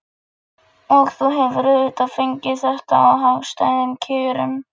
Og þú hefur auðvitað fengið þetta á hagstæðum kjörum?